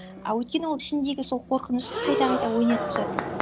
а өйткені ол ішіндегі сол қорқынышын қайта қайта ойнатып жатыр